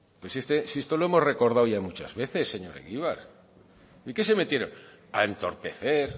si esto lo hemos recordado ya muchas veces señor egibar y que se metieron a entorpecer